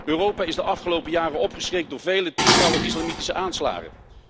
Europa is de afgelopen jaren opgeschrikt door vele tientallen islamitische aanslagen.